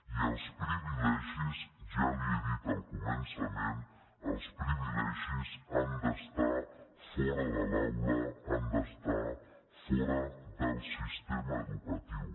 i els privilegis ja li ho he dit al començament han d’estar fora de l’aula han d’estar fora del sistema educatiu